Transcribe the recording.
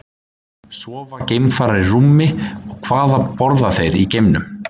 Sofa geimfarar í rúmi og hvað borða þeir í geimnum?